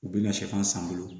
U bɛna sɛfan san n bolo